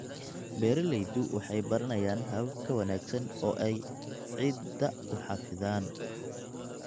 Beeraleydu waxay baranayaan habab ka wanaagsan oo ay ciidda u xafidaan.